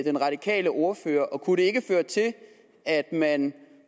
den radikale ordfører og kunne det ikke føre til at man